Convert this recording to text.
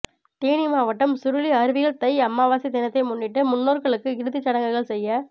தேனி மாவட்டம் சுருளி அருவியில் தை அமாவாசை தினத்தை முன்னிட்டு முன்னோா்களுக்கு இறுதிச்சடங்குகள் செய்ய